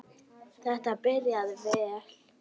Þetta byrjaði vel.